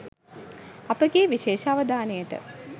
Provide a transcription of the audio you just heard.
අපගේ විශේෂ අවධානයට